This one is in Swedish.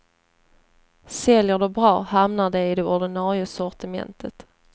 Säljer de bra, hamnar de i det ordinarie sortimentet.